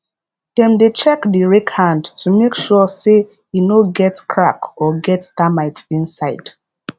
dem dey check the rake hand to make sure say e no get crack or get termite inside